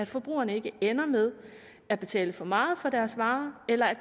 forbrugerne ikke ender med at betale for meget for deres varer eller at